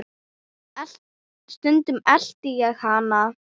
Stundum elti ég hana.